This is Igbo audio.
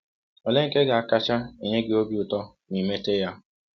Ọlee nke ga - akacha enye gị ọbi ụtọ ma i mete ya?